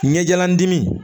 Ɲɛjalan dimi